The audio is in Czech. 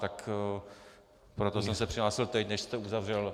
Tak proto jsem se přihlásil teď, než jste uzavřel...